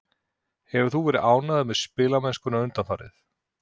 Hefur þú verið ánægður með spilamennskuna undanfarið?